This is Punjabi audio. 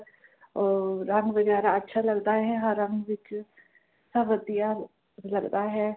ਅਹ ਰੰਗ ਵਗੈਰਾ ਅੱਛਾ ਲੱਗਦਾ ਹੈਂ ਹਰ ਰੰਗ ਵਿਚ ਸਭ ਵਧੀਆ ਲੱਗਦਾ ਹੈਂ